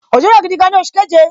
Òjò rọ̀ gidi gan ni oṣù keje